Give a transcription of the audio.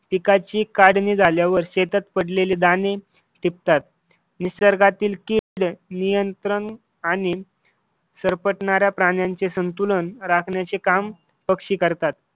पिकाची काढणी झाल्यावर शेतात पडलेली दाणे टिपतात. निसर्गातील नियंत्रण आणि सरपटणाऱ्या प्राण्यांचे संतुलन राखण्याचे काम पक्षी करतात.